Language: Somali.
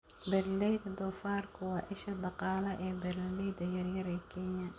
Beeralayda doofaarku waa isha dhaqaale ee beeralayda yaryar ee Kenya.